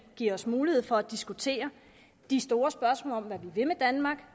giver os mulighed for at diskutere de store spørgsmål om hvad vi vil med danmark